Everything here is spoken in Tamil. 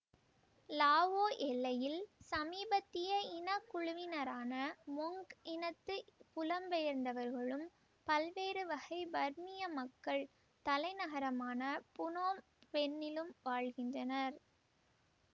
லாவோ எல்லையில் சமீபத்திய இனக்குழுவினரான மொங் இனத்து புலம்பெயர்ந்தவர்களும் பல்வேறு வகை பர்மிய மக்கள் தலைநகரமான புனோம் பென்னிலும் வாழ்கின்றனர்